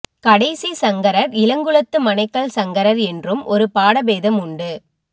கடைசி சங்கரர் இளங்குளத்து மனைக்கல் சங்கரர் என்றும் ஒரு பாடபேதம் உண்டு